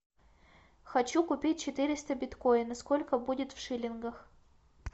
хочу купить четыреста биткоинов сколько будет в шиллингах